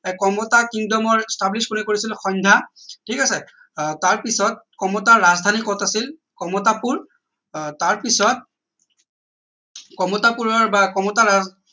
কমতা kingdom ৰ establish কোনে কৰিছিল সন্ধ্যা ঠিক আছে আহ তাৰ পিছত কমতাৰ ৰাজধানী কত আছিল কমতাপুৰ আহ তাৰ পিছত কমতাপুৰৰ বা কমতা ৰাজ